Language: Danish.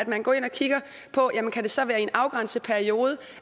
man går ind og kigger på at jamen kan det så være i en afgrænset periode